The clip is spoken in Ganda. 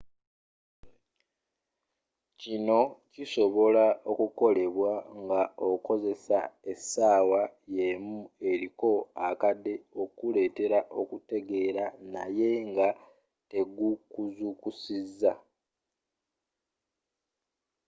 kino kisobola okukolebwa nga okozesa essaawa y'emu eriko akade okuletera okutegera naye nga tegukuzukusiza